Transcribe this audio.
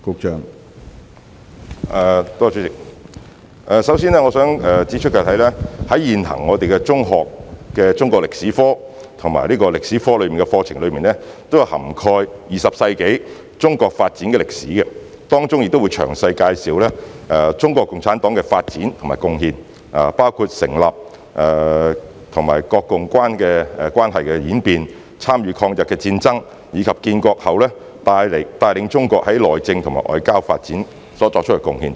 主席，首先，我想指出，現行的中學中國歷史科及歷史科課程均已涵蓋20世紀的中國發展歷史，當中詳細介紹中國共產黨的發展及貢獻，包括該黨的成立、國共關係的演變、參與抗日戰爭，以及建國後帶領中國內政和在外交發展作出的貢獻等。